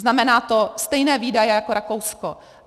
Znamená to stejné výdaje jako Rakousko.